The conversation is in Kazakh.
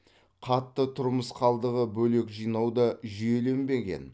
қатты тұрмыс қалдығы бөлек жинау да жүйеленбеген